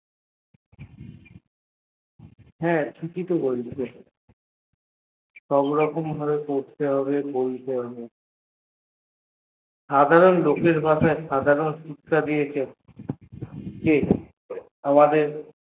হা ঠিকই তো বলছ সবরকম ভাবে বলতে হবে করতে হবে সাধারণ লোকের ভাষায় বলতে হবে কি আমাদের